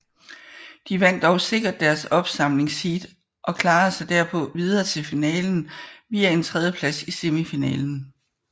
De vandt dog sikkert deres opsamlingsheat og klarede sig derpå videre til finalen via en tredjeplads i semifinalen